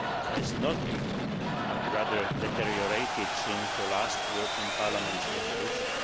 has not improved but rather deteriorated since the last European Parliament resolution.